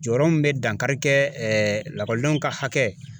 Jɔyɔrɔ min be dankari kɛ ɛɛ lakɔlidenw ka hakɛ